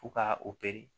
Fo ka o pere